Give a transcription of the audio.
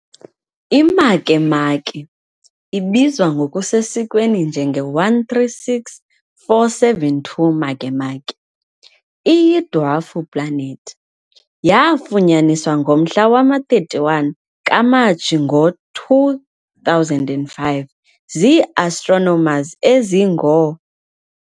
I-Makemake, ibizwa ngokusesikweni njenge-136472 Makemake, iyi-dwarf planet. Yaafunyaniswa ngomhla wama-31 kaMatshi ngo-2005 zii-astronomers ezingoo.